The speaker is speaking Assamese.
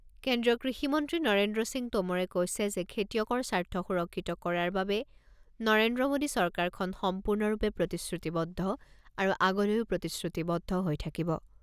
কেন্দ্ৰীয় কৃষিমন্ত্ৰী নৰেন্দ্ৰ সিং টোমৰে কৈছে যে খেতিয়কৰ স্বাৰ্থ সুৰক্ষিত কৰাৰ বাবে নৰেন্দ্ৰ মোদী চৰকাৰখন সম্পূৰ্ণৰূপে প্ৰতিশ্ৰুতিবদ্ধ আৰু আগলৈও প্ৰতিশ্ৰুতিবদ্ধ হৈ থাকিব।